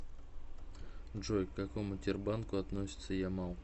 джой к какому тербанку относится ямал